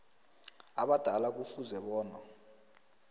abadala kufuze bona